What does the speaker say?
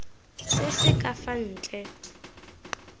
se se ka fa ntle